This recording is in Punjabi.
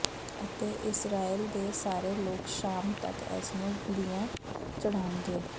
ਅਤੇ ਇਸਰਾਏਲ ਦੇ ਸਾਰੇ ਲੋਕ ਸ਼ਾਮ ਤੱਕ ਇਸ ਨੂੰ ਬਲੀਆਂ ਚੜਾਉਣਗੇ